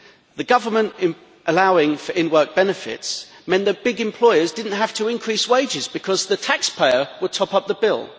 The government in allowing for in work benefits meant that big employers did not have to increase wages because the taxpayer will top up the bill.